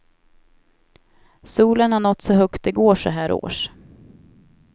Solen har nått så högt det går så här års.